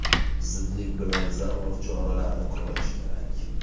Zudlik bilan zarur choralarni ko‘rish kerak.